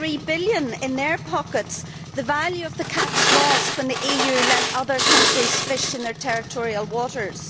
3.3 billion in their pockets the value of the catch lost when the EU let other countries fish in their territorial waters.